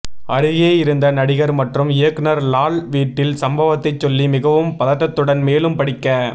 அருகே இருந்த நடிகர் மற்றும் இயக்குனர் லால் வீட்டில் சம்பவத்தை சொல்லி மிகவும் பதட்டத்துடன் மேலும் படிக்க